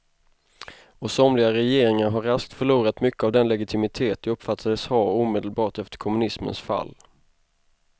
Och somliga regeringar har raskt förlorat mycket av den legitimitet de uppfattades ha omedelbart efter kommunismens fall.